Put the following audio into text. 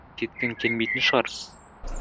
кеткің келмейтін шығар